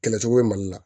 Kɛlɛcogo bɛ mali la